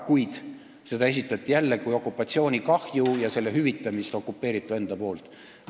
Kuid seda esitati jälle kui okupatsioonikahju ja selle hüvitamist okupeeritu enda poolt.